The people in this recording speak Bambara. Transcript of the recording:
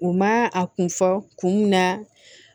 U ma a kun fɔ kun mun na